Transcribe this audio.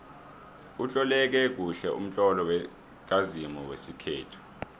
utloleke kuhle umtlolo kazimu wesikhethu